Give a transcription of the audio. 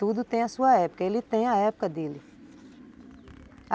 Tudo tem a sua época, ele tem a época dele.